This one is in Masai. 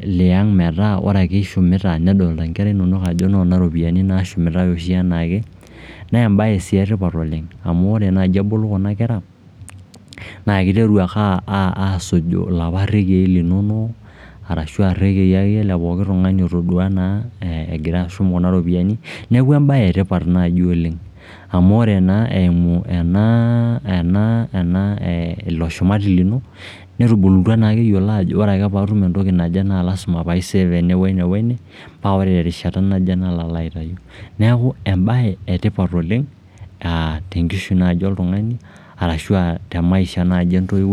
liang' metaa ore ake ishumita nedolita inkera inonok ajo noona iropiyiani naashumitae oshi enaake naa embae sii etipat oleng amu enajo ebulu kuna kera naa iteru ake aasuju iloopa rrekiei linonok arashu akeyie irrekiei lepooki tung'ani otodua naa egira ashum kuna ropiyiani. Neeku embae etipat naaji oleng. Amu naa eimu ena ena, ilo shumati lino, netubulutwa naake eyiolo ajo ore ake paatum entoki naje naa lazima pai save ene, wene, wene paa ore terishata naje nalo aitau. Neeku embae etipat oleng aa tenkishui naaji oltung'ani ashu te maisha naaji entoiwoi